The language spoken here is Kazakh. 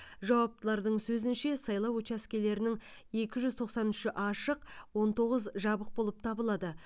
жауаптылардың сөзінше сайлау учаскелерінің екі жүз тоқсан үші ашық он тоғыз жабық болып табылады